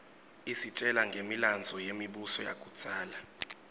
isitjela ngemilandvo yemibuso yakudzala